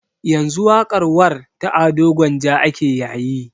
Yanzu waƙar warr ta ado gwanja ake yayi